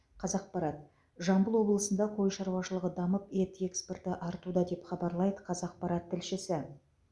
қазақпарат жамбыл облысында қой шаруашылығы дамып ет экспорты артуда деп хабарлайды қазақпарат тілшісі